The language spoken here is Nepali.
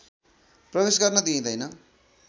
प्रवेश गर्न दिइँदैन